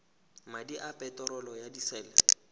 madi a peterolo ya disele